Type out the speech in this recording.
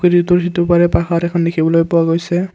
নদীটোৰ সিটো পাৰে পাহাৰ এখন দেখিবলৈ পোৱা গৈছে।